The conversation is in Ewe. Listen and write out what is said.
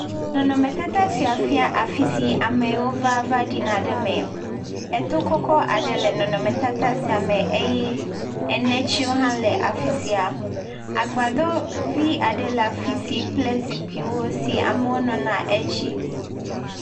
Nɔnɔme tata sia fia afisi wò ɖuna ɖe eme. Eto kɔkɔ aɖe le nɔnɔme tata sia me eye enetiwo hã le afisia. Nu Agbadɔvi aɖe le afisia kple zikpui eye amewo nɔna edzi.